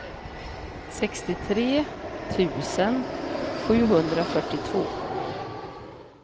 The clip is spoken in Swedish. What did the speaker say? sextiotre tusen sjuhundrafyrtiotvå